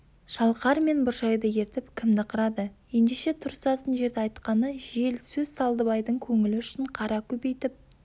шалқар мен бұршайды ертіп кімді қырады ендеше тұрысатын жерді айтқаны жел сөз салдыбайдың көңілі үшін қара көбейтіп